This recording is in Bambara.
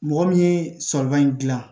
Mɔgɔ min ye sɔgɔma in dilan